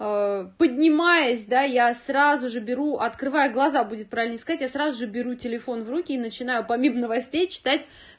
поднимаясь да я сразу же беру открываю глаза будет правильней сказать я сразу беру телефон в руки и начинаю помимо новостей читать